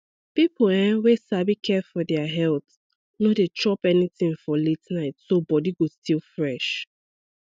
people um wey sabi care for their health no dey chop anything for late night so body go still fresh